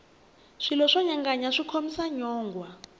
swilo swo nyanganya swi khomisa nyongwha